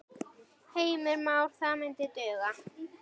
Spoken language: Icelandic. Heimir Már: Það myndi duga?